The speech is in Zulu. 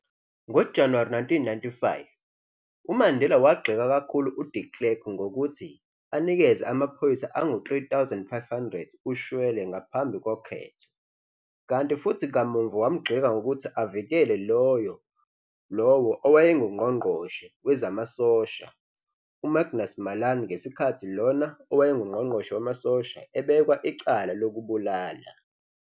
NgoJanuwari 1995, uMandela wagxeka kakhulu uDe Klerk ngokuthi anikeze amaphoyisa angu 3 500 ushwele ngaphambi koketho, kanti futhi kamuva wamgxeka ngokuthi avikele lowo owayenguNgqongqoshe wezamasosha, u-Magnus Malan ngesikhathi lona owayengungqongqoshe wamasosha ebekwa icala lokubulala.